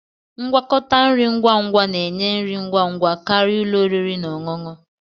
Ngwakọta nri ngwa ngwa na-enye nri ngwa ngwa karịa ụlọ oriri na ọṅụṅụ